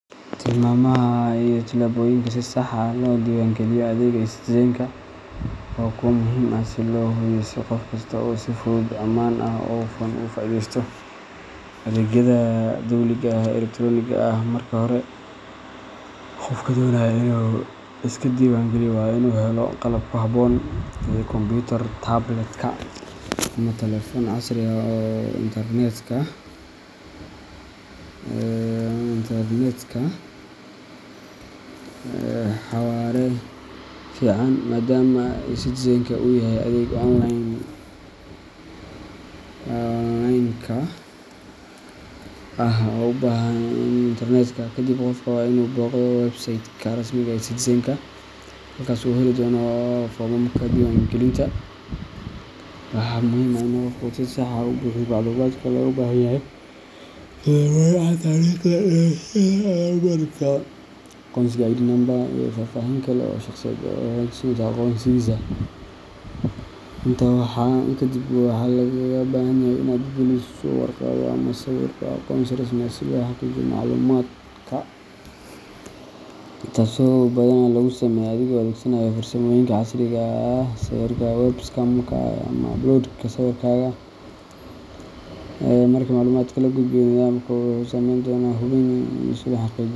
Tilmaamaha iyo tillaabooyinka si sax ah loo diiwaangeliyo adeegga eCitizenka waa kuwo muhiim ah si loo hubiyo in qof kasta uu si fudud, ammaan ah, oo hufan ugu faa’iideysto adeegyada dowliga ah ee elektaroonigga ah. Marka hore, qofka doonaya inuu iska diiwaangeliyo waa inuu helo qalab ku habboon sida kombiyuutar, tabletka, ama taleefan casri ah oo leh internetka xawaare fiican, maadaama eCitizenka uu yahay adeeg onlineka ah oo u baahan isku xirka internetka. Kadib, qofka waa inuu booqdo website-ka rasmiga ah ee eCitizenka, halkaas oo uu ka heli doono foomamka diiwaangelinta. Waxaa muhiim ah in qofka uu si sax ah u buuxiyo macluumaadka looga baahan yahay, sida magaca, taariikhda dhalashada, lambarka aqoonsiga ID number, iyo faahfaahin kale oo shaqsiyeed oo xaqiijinaysa aqoonsigiisa. Intaa kadib, waxaa lagaaga baahan karaa inaad geliso warqado ama sawirro aqoonsi rasmi ah si loo xaqiijiyo macluumaadka, taasoo badanaa lagu sameeyo adigoo adeegsanaya farsamooyinka casriga ah sida sawirka webcam-ka ama upload-ka sawirkaaga. Marka macluumaadka la gudbiyo, nidaamka wuxuu sameyn doonaa hubin si loo xaqiijiyo.